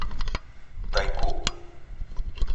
тайгу